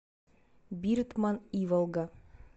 биртман иволга